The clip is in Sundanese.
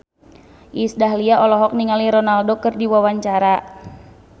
Iis Dahlia olohok ningali Ronaldo keur diwawancara